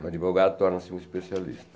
Um advogado torna-se um especialista.